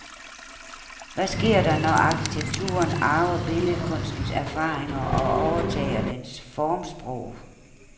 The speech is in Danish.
Hvad sker der, når arkitekturen arver billedkunstens erfaringer og overtager dens formsprog?